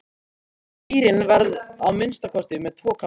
Kýrin verður að minnsta kosti með tvo kálfa.